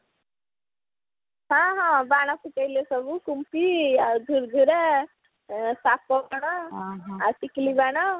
ହଁ ହଁ ବାଣ ଫୁଟେଇଲେ ସବୁ କୁମ୍ପି ଆଉ ଝୁର୍ଝୁରା ସାପ କଣ ଆଉ ଟିକିଲି ବାଣ